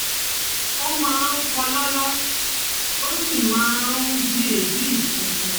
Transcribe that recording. Ó máa ń kólòlò, ó sì máa ń bi ebi funfun